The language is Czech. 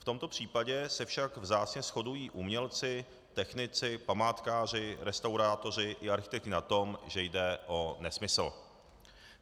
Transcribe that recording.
V tomto případě se však vzácně shodují umělci, technici, památkáři, restaurátoři i architekti na tom, že jde o nesmysl.